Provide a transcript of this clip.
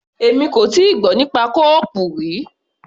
Èmi kò tíì gbọ́ nípa kó-ọọ̀pù rí.